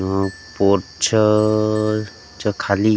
ह पोच्छर अ च्या खाली--